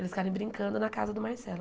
Eles ficarem brincando na casa do Marcelo.